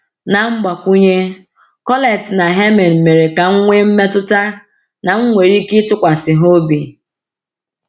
Na mgbakwunye, Colette na Hermine mere ka m nwee mmetụta na m nwere ike ịtụkwasị ha obi.